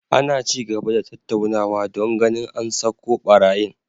Ana ci gaba da tattaunawa don ganin an sako barayin